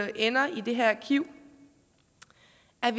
ender i det her arkiv